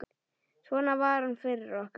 Svona var hann fyrir okkur.